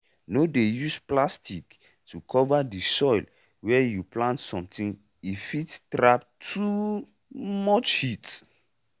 no dey use plastic to cover di soil wey you plant something e fit trap too um much heat.